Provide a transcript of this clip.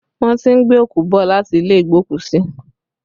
Wọ́n ti ń gbé òkú bọ̀ láti ilé igbokusi